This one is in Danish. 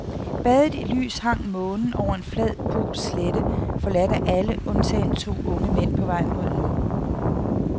Badet i lys hang månen over en flad polsk slette forladt af alle undtagen to unge mænd på vej mod nord.